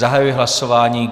Zahajuji hlasování.